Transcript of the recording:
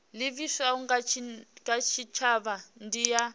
livhiswaho kha tshitshavha ndi ya